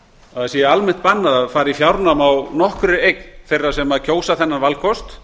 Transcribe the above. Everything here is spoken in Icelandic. að almennt sé bannað að fara í fjárnám á nokkurri eign þeirra sem kjósa þennan valkost